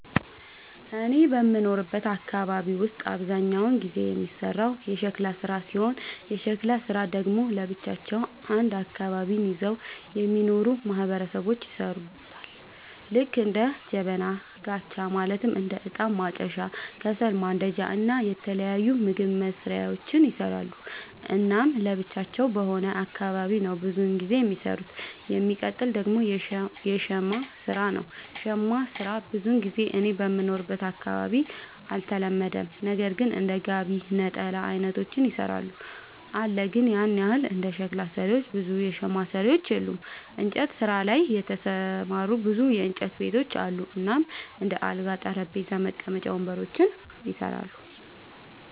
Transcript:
እኔ በምኖርበት አካባቢ ውስጥ አብዛኛውን ጊዜ የሚሰራው የሸክላ ስራ ሲሆን የሸክላ ስራ ደግሞ ለብቻቸው አንድ አካባቢን ይዘው የሚኖሩ ማህበረሰቦች ይሠሩታል ልክ እንደ ጀበና፣ ጋቻ ማለትም እንደ እጣን ማጨሻ፣ ከሰል ማንዳጃ እና የተለያዩ ምግብ መስሪያዎችን ይሰራሉ። እናም ለብቻቸው በሆነ አካባቢ ነው ብዙም ጊዜ የሚኖሩት። የሚቀጥል ደግሞ የሸማ ስራ ነው, ሸማ ስራ ብዙ ጊዜ እኔ በምኖርበት አካባቢ አልተለመደም ነገር ግን እንደ ጋቢ፣ ነጠላ አይነቶችን ይሰራሉ አለ ግን ያን ያህል እንደ ሸክላ ሰሪዎች ብዙ የሸማ ሰሪዎች የሉም። እንጨት ስራ ላይ የተሰማሩ ብዙ የእንጨት ቤቶች አሉ እናም እንደ አልጋ፣ ጠረጴዛ፣ መቀመጫ ወንበሮችን ይሰራሉ።